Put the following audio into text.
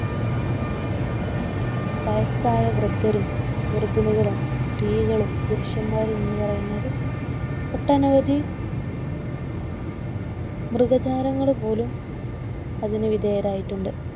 വയസ്സായ വൃദ്ധരും, ഗർഭിണികളും, സ്ത്രീകളും, പുരുഷന്മാരും എന്നു പറയുന്നവർ ഒട്ടനവധി മൃഗജാലങ്ങൾ പോലും അതിനു വിധേയരായിട്ടുണ്ട്